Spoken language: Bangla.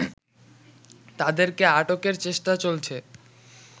তাদেরকে আটকের চেষ্টা চলছে